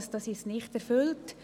Dies ist nicht erfüllt.